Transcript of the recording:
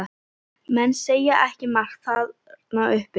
Menn segja ekki margt þarna uppi.